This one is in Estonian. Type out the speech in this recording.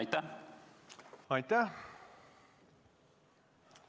Aitäh!